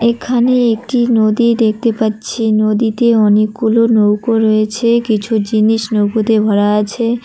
এখানে একটি নদী দেখতে পাচ্ছি নদীতে অনেকগুলো নৌকো রয়েছে কিছু জিনিস নৌকোতে ভরা আছে।